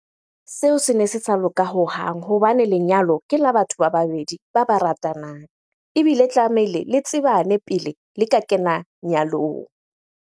Seo sene se sa loka hohang hobane lenyalo ke la batho ba babedi ba ba ratanang. Ebile tlamehile le tsebane pele le ka kena nyalong.